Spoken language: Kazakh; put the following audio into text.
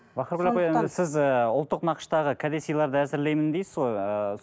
бахаргүл апай сіз і ұлттық нақыштағы кәде сыйларды әзірлеймін дейсіз ғой ііі